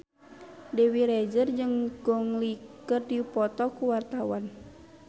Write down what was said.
Dewi Rezer jeung Gong Li keur dipoto ku wartawan